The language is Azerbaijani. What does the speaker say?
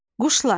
Quşlar.